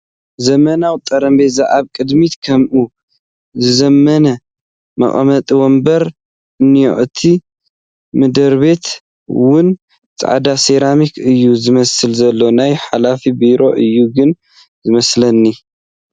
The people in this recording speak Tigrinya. ዘመናዎ ጠረጴዛ ኣብ ቐድሚቱ ከምኡ ዝዘመነ መቐመጢ ወንበር እንሄ እቲ ምድርቤቱ'ውን ፃዕዳ ሰራሚክ እየ ዝመስል ዘሎ ። ናይ ሓላፊ ቢሮ እዩ ግን ዝመስለኒ ።